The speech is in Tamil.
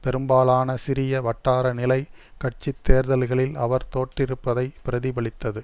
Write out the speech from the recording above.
பெரும்பாலான சிறிய வட்டார நிலை கட்சி தேர்தல்களில் அவர் தோற்றிருப்பதை பிரதிபலித்தது